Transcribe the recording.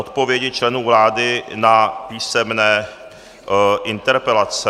Odpovědi členů vlády na písemné interpelace